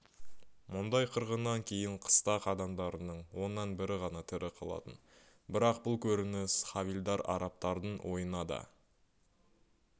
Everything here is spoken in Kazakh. мұндай қырғыннан кейін қыстақ адамдарының оннан бірі ғана тірі қалатын бірақ бұл көрініс хавильдар-арабтардың ойына да